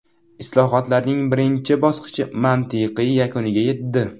Islohotlarning birinchi bosqichi mantiqiy yakuniga yetdi.